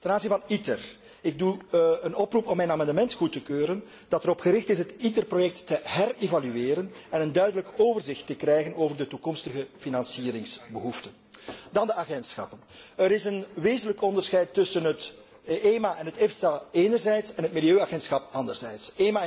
Ten aanzien van ITER doe ik een oproep om mijn amendement goed te keuren dat erop gericht is het ITER project te herevalueren en een duidelijk overzicht te krijgen over de toekomstige financieringsbehoeften. Dan de agentschappen. Er is een wezenlijk onderscheid tussen het EMA en het EFSA enerzijds en het Milieuagentschap anderzijds.